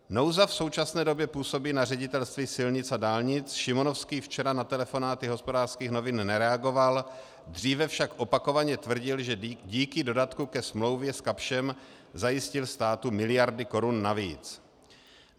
Nouza v současné době působí na Ředitelství silnic a dálnic, Šimonovský včera na telefonáty Hospodářských novin nereagoval, dříve však opakovaně tvrdil, že díky dodatku ke smlouvě s Kapschem zajistil státu miliardy korun navíc.